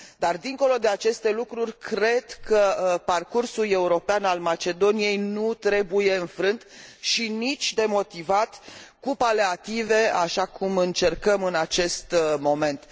Dar, dincolo de aceste lucruri, cred că parcursul european al Macedoniei nu trebuie înfrânt și nici demotivat cu paleative, așa cum încercăm în acest moment.